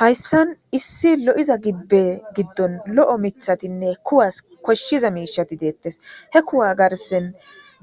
Hayssan issi lo'iza gibbe giddon lo'o mithatinne kuwas koshshiza miishati deettes he kuwa garsen